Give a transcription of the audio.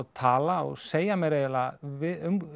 tala og segja mér við